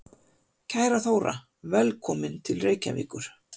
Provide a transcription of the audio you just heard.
Kæra Þóra. Velkomin til Reykjavíkur.